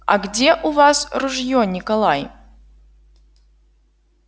а где у вас ружьё николай